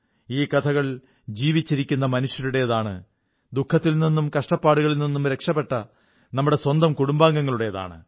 ഈ കഥകൾ ജീവിച്ചിരിക്കുന്ന മനുഷ്യരുടേതാണ് ദുഖത്തിൽനിന്നും കഷ്ടപ്പാടുകളിൽ നിന്നും രക്ഷപ്പെട്ട നമ്മുടെ സ്വന്തം കുടുംബാംഗങ്ങളുടേതാണ്